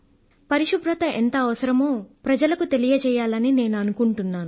పరిశుభ్రత ఎంత అవసరమో ప్రజలకు తెలియజేయాలని నేను అనుకుంటున్నాను